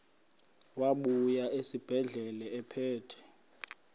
wabuya esibedlela ephethe